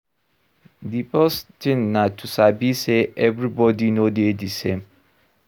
The first thing na to sabi sey everybody no dey di same